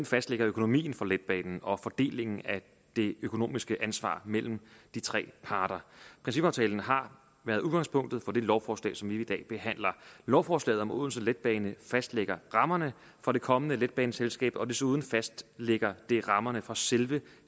fastlægger økonomien for letbanen og fordelingen af det økonomiske ansvar mellem de tre parter principaftalen har været udgangspunktet for det lovforslag som vi i dag behandler lovforslaget om odense letbane fastlægger rammerne for det kommende letbaneselskab og desuden fastlægger det rammerne for selve